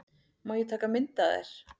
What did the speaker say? Má ég taka mynd af þér?